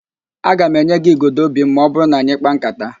Aga m enye gị igodo óbì m ma ọ bụrụ na anyị kpaa ńkátá